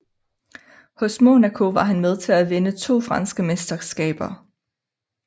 Hos Monaco var han med til at vinde to franske mesterskaber